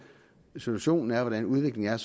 situationen er hvordan udviklingen er